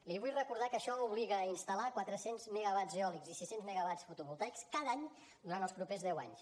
li vull recordar que això obliga a instal·lar quatre cents megawatts eòlics i sis cents megawatts fotovoltaics cada any durant els propers deu anys